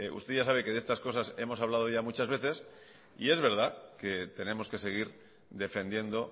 usted ya sabe que de estas cosas hemos hablado ya muchas veces y es verdad que tenemos que seguir defendiendo